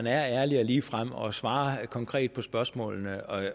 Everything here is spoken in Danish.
er ærlig og ligefrem og svarer konkret på spørgsmålene